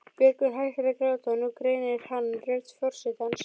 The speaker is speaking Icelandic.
Björgvin hættir að gráta og nú greinir hann rödd forsetans.